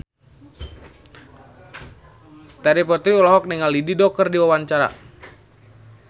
Terry Putri olohok ningali Dido keur diwawancara